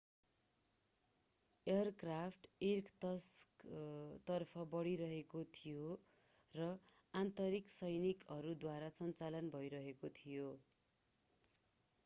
aircraft इर्कत्स्कतर्फ बढिरहेको थियो र आन्तरिक सैनिकहरूद्वारा सञ्चालन भइरहेको थियो